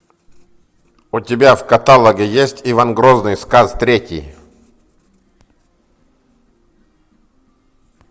у тебя в каталоге есть иван грозный сказ третий